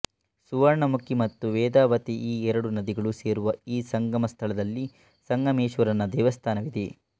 ಸುವರ್ಣಮುಖಿ ಮತ್ತು ವೇದಾವತಿ ಈ ಎರಡು ನದಿಗಳು ಸೇರುವ ಈ ಸಂಗಮ ಸ್ಥಳದಲ್ಲಿ ಸಂಗಮೇಶ್ವರನ ದೇವಸ್ತಾನವಿದೆ